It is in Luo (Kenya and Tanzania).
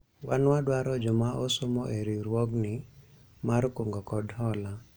wan wadwaro joma osomo e riwruogni mar kungo kod hola